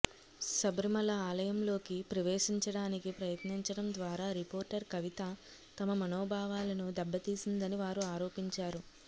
శబరిమల ఆలయంలోకి ప్రవేశించడానికి ప్రయత్నించడం ద్వారా రిపోర్టర్ కవిత తమ మనోభావాలను దెబ్బతీసిందని వారు ఆరోపించారు